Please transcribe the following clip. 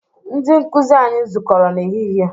Ndị nkụzi anyi zukọrọ n'ehihie